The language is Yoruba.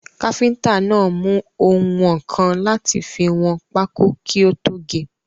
Káfíntà náà mú oùnwọ̀nkan láti fi wọn pákó kí ó tó ge.